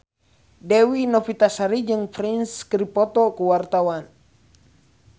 Dewi Novitasari jeung Prince keur dipoto ku wartawan